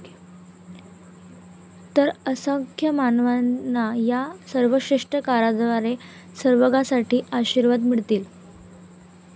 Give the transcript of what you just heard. तर, असंख्य मानवांना या सर्वश्रेष्ठ कराराद्वारे सर्वकाळसाठी आशीर्वाद मिळतील.